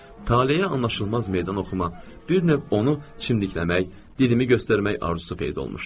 Talehə anlaşılmaz meydan oxuma, bir növ onu çimdikləmək, dilimi göstərmək arzusu peyda olmuşdu.